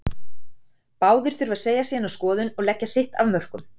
Báðir þurfa að fá að segja sína skoðun og leggja sitt af mörkum.